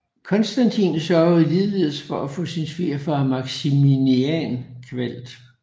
Konstantin sørgede ligeledes for at få sin svigerfar Maximinian kvalt